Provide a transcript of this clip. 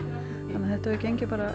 þannig að þetta hefur gengið